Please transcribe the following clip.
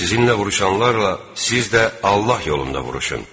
Sizinlə vuruşanlarla siz də Allah yolunda vuruşun.